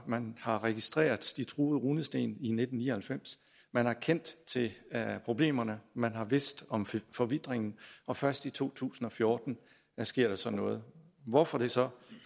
man har registreret de truede runesten i nitten ni og halvfems man har kendt til problemerne man har vidst om forvitringen og først i to tusind og fjorten sker der så noget hvorfor det så